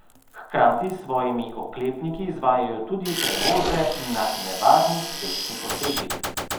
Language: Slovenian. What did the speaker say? Hkrati s svojimi oklepniki izvajajo tudi prevoze na nevarnih cestnih odsekih.